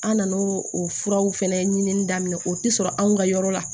An nan'o o furaw fɛnɛ ɲinini daminɛ o ti sɔrɔ anw ka yɔrɔ la